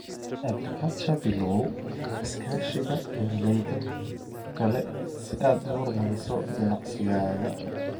Agriculture Bilow iskaashiga beeralayda kale si aad u horumariso ganacsigaaga.